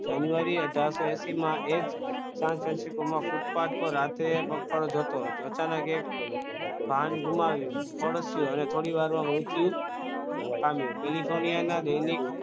જાન્યુઆરી અથારસો હેસિમાં ફૂટપાથ પર રાત્રે પગપાળા જતો હતો અચાનક એક વાહન ગુમાવ્યો પડ્યો અને થોડીવારમાં મૃત્યુ પામ્યો ટેલીફોનિયમના